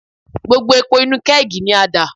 Gbogbo epo inú kẹ́ẹ̀gì ni a dà.